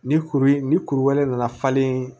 Ni kuru ni kuru wɛrɛ nana falen